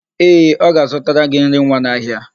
Ee, ọ ga-azụtara gị nri nwa n'ahịa.